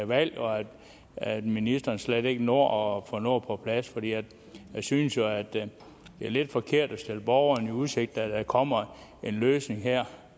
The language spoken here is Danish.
valg og at ministeren slet ikke når at få noget på plads for jeg synes jo at det er lidt forkert at stille borgerne i udsigt at der kommer en løsning